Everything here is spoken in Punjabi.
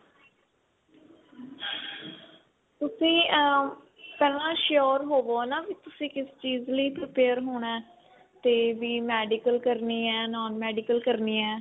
ਤੁਸੀਂ ਅਹ ਪਹਿਲਾ sure ਹੋਵੋ ਨਾ ਕਿ ਤੁਸੀਂ ਕਿਸ ਚੀਜ ਲਈ prepare ਹੋਣਾ ਤੇ ਵੀ medical ਕਰਨੀ ਹੈ non medical ਕਰਨੀ ਹੈ